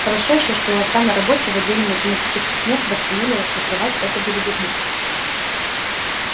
хорошо ещё что у отца на работе в отделе математических методов сумели расшифровать эту белиберду